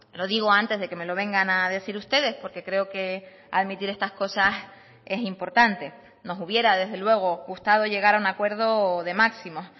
lo digo antes de que me lo vengan a decir ustedes porque creo que admitir estas cosas es importante nos hubiera desde luego gustado llegar a un acuerdo de máximos